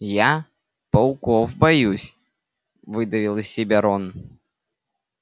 я пауков боюсь выдавил из себя рон